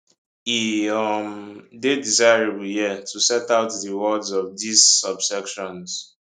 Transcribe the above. e um dey desirable here to set out di words of dis subsections